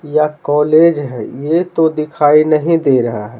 या कॉलेज है ये तो दिखाई नहीं दे रहा है।